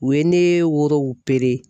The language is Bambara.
U ye ne woro